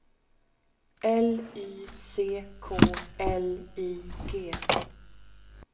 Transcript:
L Y C K L I G